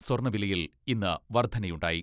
സ്വർണ വിലയിൽ ഇന്ന് വർദ്ധനയുണ്ടായി.